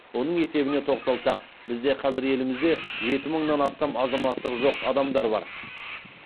оның есебіне тоқталсақ бізде қазір елімізде жеті мыңнан астам азаматтығы жоқ адамдар бар